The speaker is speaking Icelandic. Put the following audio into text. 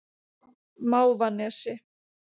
Mávanesi